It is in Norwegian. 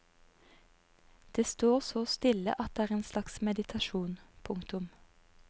Det står så stille at det er en slags meditasjon. punktum